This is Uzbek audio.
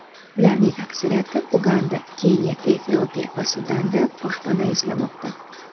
Ularning aksariyati Uganda, Keniya, Efiopiya va Sudanda boshpana izlamoqda.